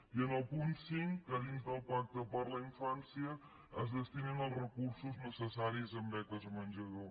i en el punt cinc que dins del pacte per a la infància es destinin els recursos necessaris en beques menjador